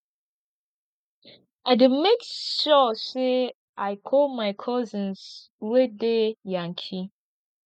i dey make sure sey i call my cousins wey dey yankee